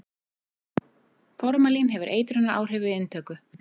formalín hefur eitrunaráhrif við inntöku